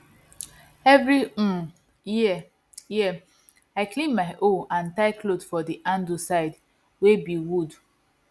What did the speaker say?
every um year year i clean my hoe and tie cloth for handle side wey b wood